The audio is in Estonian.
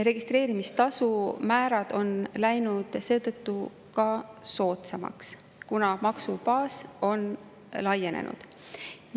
Registreerimistasu määrad on läinud seetõttu soodsamaks, kuna maksubaas on laienenud.